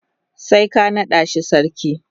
sai ka nada shi sarki.